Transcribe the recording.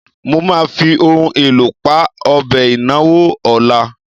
Mo máa fi ohun èlò pa ọbẹ̀ ìnáwó ọ̀la.